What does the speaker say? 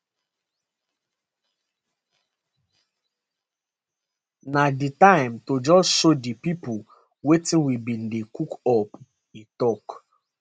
na di time to just show di pipo wetin we bin dey cook up e tok